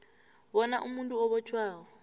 bona umuntu obotjhwako